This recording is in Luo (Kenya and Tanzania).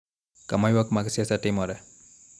Kama ywak mag siasa timoree.